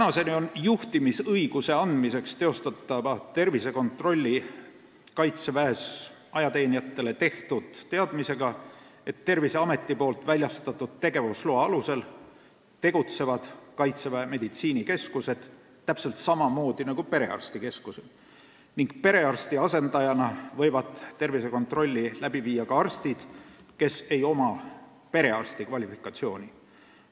Seni on juhtimisõiguse andmiseks teostatavat tervisekontrolli Kaitseväes ajateenijatele tehtud teadmisega, et Terviseameti väljastatud tegevusloa alusel tegutsevad Kaitseväe meditsiinikeskused täpselt samamoodi nagu perearstikeskused ning perearsti asendajana võivad tervisekontrolli läbi viia ka arstid, kel ei ole perearsti kvalifikatsiooni.